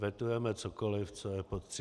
Vetujeme cokoliv, co je pod 30 dní.